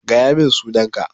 Gaya min sunan ka!